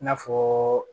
I n'a fɔ